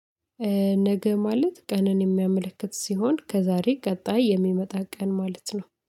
ነገ ማለት ቀንን የሚያመለክት ሲሆን ከዛሬ ቀጣይ የሚመጣ ቀን ማለት ነው።